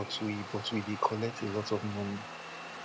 but we but we dey collect a lot of money